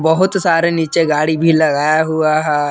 बहुत सारे नीचे गाड़ी भी लगाया हुआ है।